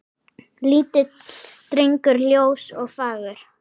Lítill drengur ljós og fagur.